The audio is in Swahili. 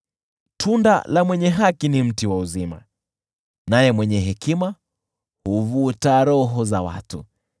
Tunda la mwenye haki ni mti wa uzima, naye mwenye hekima huvuta roho za watu.